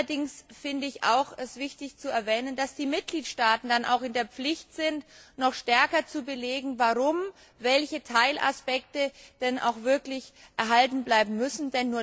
Allerdings finde ich es auch wichtig zu erwähnen, dass die Mitgliedstaaten in der Pflicht sind, noch stärker zu belegen, warum welche Teilaspekte denn erhalten bleiben müssen.